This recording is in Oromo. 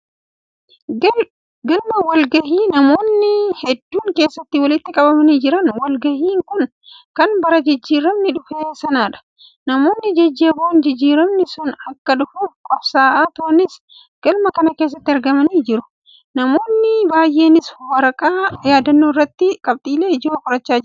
Galma wal-gahii namoonni hedduun keessatti walitti qabamanii jiran. Wal-gahiin kun kan bara jijjiiramni dhufee sanadha. Namoonni jajjaboon jijjiiramni sun akka dhufuuf qabsaa'aa turanis galma kana keessatti argamanii jiru. Namoonni baay'eenis waraqaa yaadannoo irratti qabxiilee ijoo qachaa kan jiranidha.